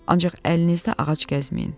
Ancaq əlinizdə ağac gəzməyin.